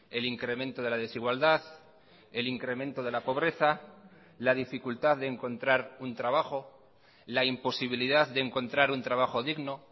el incremento de la desigualdad el incremento de la pobreza la dificultad de encontrar un trabajo la imposibilidad de encontrar un trabajo digno